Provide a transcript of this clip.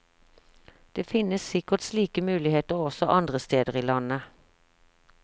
Det finnes sikkert slike muligheter også andre steder i landet.